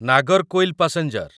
Nagercoil passenger